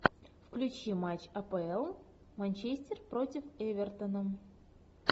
включи матч апл манчестер против эвертона